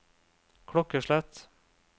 klokkeslett